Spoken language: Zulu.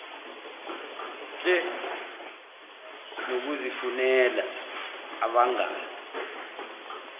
nhle nokuzifunela abangani